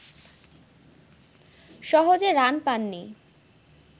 সহজে রান পাননি